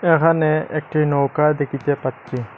এহানে একটি নৌকা দেখিতে পাচ্ছি।